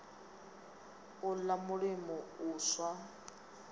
u ḽa mulimo u swa